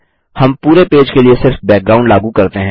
हम पूरे पेज के लिए सिर्फ बैकग्राउंड लागू करते हैं